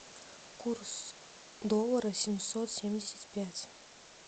курс доллара семьсот семьдесят пять